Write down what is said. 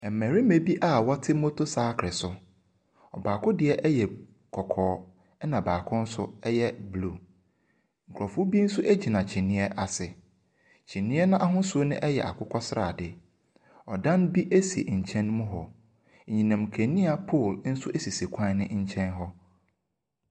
Mmarima bi a wɔte motosakere so. Ɔbaako deɛ yɛ kɔkɔɔ. Ɛna baako nso yɛ blue. Nkurɔfoɔ bi nso gyina kyiniiɛ ase. Kyiniiɛ no ahosuo no yɛ akokɔsradeɛ. Dan bi si nkyɛn mu hɔ. Anyinam nkanea pole nso sisi kwan no nkyɛn hɔ.